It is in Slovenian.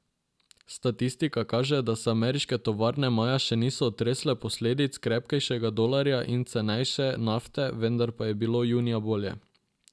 Statistika kaže, da se ameriške tovarne maja še niso otresle posledic krepkejšega dolarja in cenejše nafte, vendar pa je bilo junija bolje.